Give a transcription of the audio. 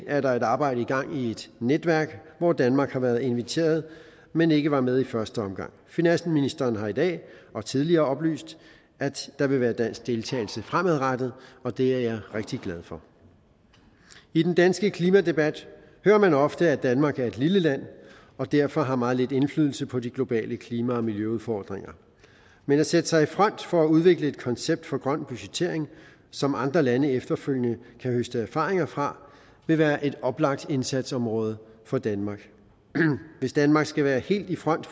er der et arbejde i gang i et netværk hvor danmark har været inviteret men ikke var med i første omgang finansministeren har i dag og tidligere oplyst at der vil være dansk deltagelse fremadrettet og det er jeg rigtig glad for i den danske klimadebat hører man ofte at danmark er et lille land og derfor har meget lidt indflydelse på de globale klima og miljøudfordringer men at sætte sig i front for at udvikle et koncept for grøn budgettering som andre lande efterfølgende kan høste erfaringer fra vil være et oplagt indsatsområde for danmark hvis danmark skal være helt i front